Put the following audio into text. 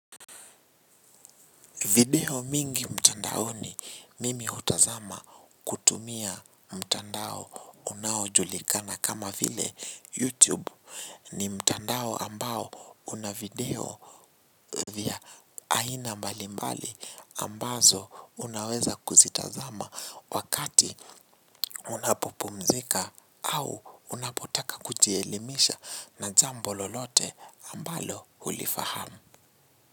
Video mingi mtandaoni mimi hutazama kutumia mtandao unaojulikana kama vile YouTube ni mtandao ambao una video vya aina mbali mbali ambazo unaweza kuzitazama wakati unapopumzika au unapotaka kujielimisha na jambo lolote ambalo hulifahamu.